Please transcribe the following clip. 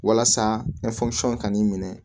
Walasa ka n'i minɛ